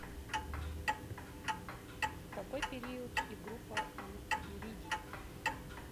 какой период и группа у иридий